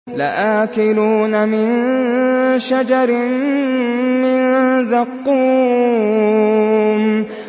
لَآكِلُونَ مِن شَجَرٍ مِّن زَقُّومٍ